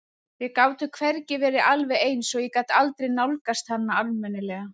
Við gátum hvergi verið alveg ein svo ég gat aldrei nálgast hana almennilega.